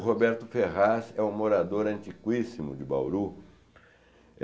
O Roberto Ferraz é um morador antiquíssimo de Bauru.